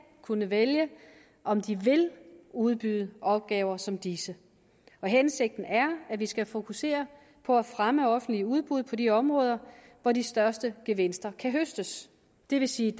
kunne vælge om den vil udbyde opgaver som disse hensigten er at vi skal fokusere på at fremme de offentlige udbud på de områder hvor de største gevinster kan høstes det vil sige